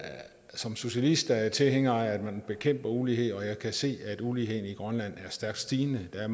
som socialist er jeg tilhænger af at man bekæmper ulighed og jeg kan se at uligheden i grønland er stærkt stigende der